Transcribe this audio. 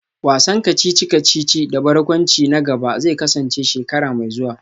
Wasan kacici-kacici da barkwanci na gaba zai kasance shekara mai zuwa